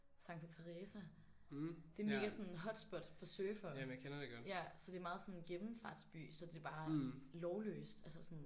Santa Teresa det mega sådan hotspot for surfere ja så det meget sådan gennemfartsby så det bare lovløst altså sådan